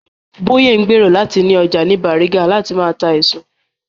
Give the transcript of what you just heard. Bóyè ń gbèrò láti ni ọjà ní Bàrígà láti máa ta èso